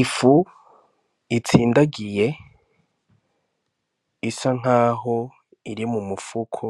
Ifu itsindagiye isa nk'aho iri mu mufuko